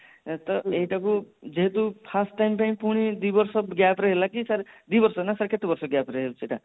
ତ ଏଇଟା କୁ ଯେହେତୁ first time ପୁଣି ଦି ବର୍ଷ gap ରେ ହେଲା କି sir ଦି ବର୍ଷ ନ କେତେ ବର୍ଷ